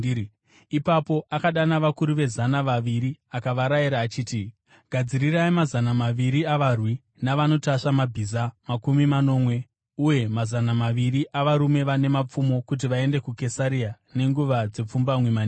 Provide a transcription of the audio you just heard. Ipapo akadana vakuru vezana vaviri akavarayira achiti, “Gadzirirai mazana maviri avarwi, navanotasva mabhiza makumi manomwe uye mazana maviri avarume vane mapfumo kuti vaende kuKesaria nenguva dzepfumbamwe manheru.